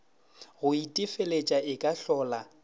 go itefeletša e ka hlola